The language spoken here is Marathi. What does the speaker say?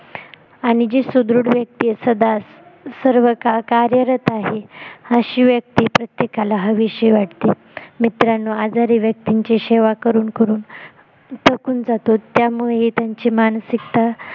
आणि जी सुदृढ व्यक्ती आहे सदा सर्वकाळ कार्यरत आहे अशी व्यक्ती प्रत्येकाला हवीशी वाटते मित्रांनो आजारी व्यक्तींची सेवा करून करून थकून जातो त्यामुळेही त्यांची मानसिकता